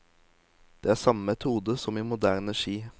Det er samme metode som i moderne ski.